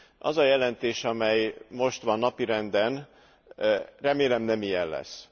Az a jelentés, amely most van napirenden, remélem nem ilyen lesz.